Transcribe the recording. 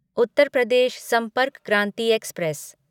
Uttar Pradesh Sampark Kranti express